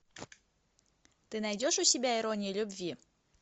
ты найдешь у себя ирония любви